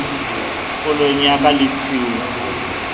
kgolong ya ka le tshiung